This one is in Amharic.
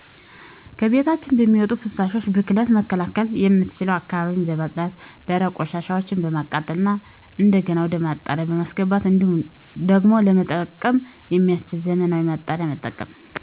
ከቤቶች በሚወጡ ፍሳሾች። ብክለቱን መከላከያ የምንችለው አካባቢን በማፅዳት ደረቅጰዠ ቅሻሻዎችን በማቃጠል እና እንደገና ወደ ማጣሪያ በማስገባት እንዲሁም ዳግም ለመጠቀም የሚያስችል ዘመናዊ ማጣሪያን መጠቀም